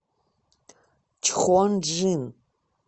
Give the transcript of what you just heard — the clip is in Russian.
чхонджин